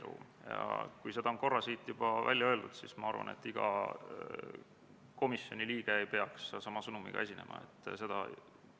Muudatusettepaneku kohaselt saab Eesti Kaitsevägi EUNAVFOR Med/Sophia missioonil osalemist jätkata vaid Euroopa Liidu Nõukogu mandaadi olemasolu korral.